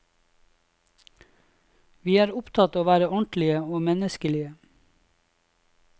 Vi er opptatt av å være ordentlige og menneskelige.